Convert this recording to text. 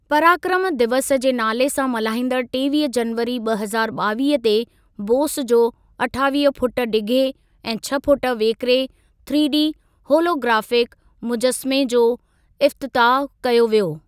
पराक्रम दिवस जे नाले सां मल्हाइंदड़ु टेवीह जनवरी ॿ हज़ारु ॿावीह ते बोस जो अठावीह फुट डिघे ऐं छह फुट वेकरे थ्रीडी होलोग्राफिक मुजसमे जो इफ़्तताहु कयो वियो।